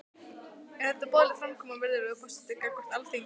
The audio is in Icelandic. Er þetta boðleg framkoma, virðulegur forseti, gagnvart Alþingi?